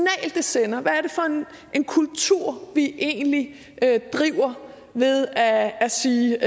det sender og egentlig er vi driver ved at at sige